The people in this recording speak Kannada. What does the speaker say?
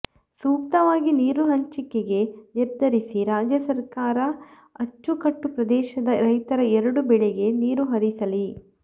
ಸೂಕ್ತವಾಗಿ ನೀರು ಹಂಚಿಕೆಗೆ ನಿರ್ಧರಿಸಿ ರಾಜ್ಯ ಸರ್ಕಾರ ಅಚ್ಚುಕಟ್ಟು ಪ್ರದೇಶದ ರೈತರ ಎರಡೂ ಬೆಳೆಗೆ ನೀರು ಹರಿಸಲಿ